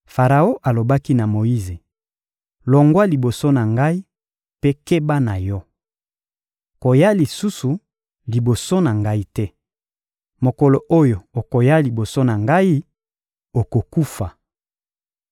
Faraon alobaki na Moyize: — Longwa liboso na ngai mpe keba na yo! Koya lisusu liboso na ngai te! Mokolo oyo okoya lisusu liboso na ngai, okokufa.